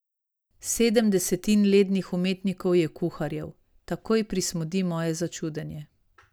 Sedem desetin lednih umetnikov je kuharjev, takoj prismodi moje začudenje.